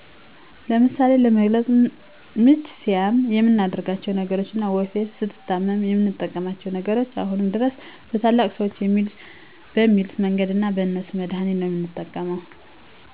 ለምሳሌ ለመግለፅ ምች ሲያም የምናደርጋቸው ነገሮች እና ወፌ ስንታመም የምንጠቀማቸው ነገሮች አሁንም ድረስ በታላላቅ ሰዎች በሚሉት መንገድ እና በእነሱ መድሀኒት ነው የምንጠቀመው